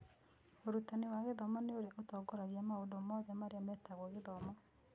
Ũrutani wa gĩthomo nĩ ũrĩa ũtongoragia maũndũ mothe marĩa metagwo gĩthomo.